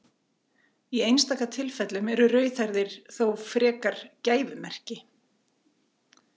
í einstaka tilfellum eru rauðhærðir þó frekar gæfumerki